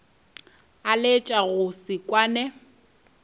a laetša go se kwane